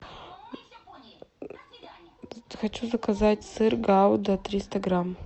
хочу заказать сыр гауда триста грамм